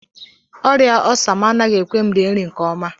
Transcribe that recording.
Ọrịa ọssa m anaghị ekwe m rie nri nke ọma